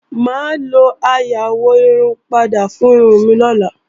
Mà á lo aró ayáwọ̀-irun-padà fún irun mi lọ́la